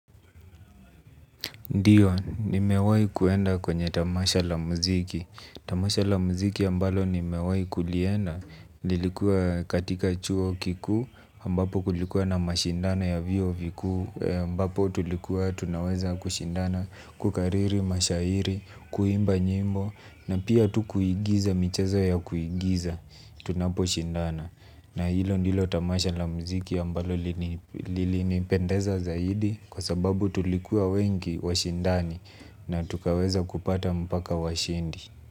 Ndiyo, nimewai kuenda kwenye tamasha la muziki. Tamasha la muziki ambalo nimewai kulienda. Lilikuwa katika chuo kikuu, ambapo kulikuwa na mashindana ya vyuo vikuu, ambapo tulikuwa tunaweza kushindana kukariri, mashairi, kuimba nyimbo, na pia tu kuigiza, michezo ya kuigiza, tunapo shindana. Na hilo ndilo tamasha la mziki ambalo lilinipendeza zaidi kwa sababu tulikuwa wengi washindani na tukaweza kupata mpaka washindi.